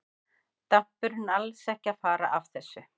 Dampurinn er alls ekki að fara af þessu.